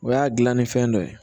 O y'a dilanni fɛn dɔ ye